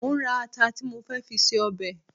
Mo ń ra ata tí mo fẹ́ fi ṣe ọbẹ̀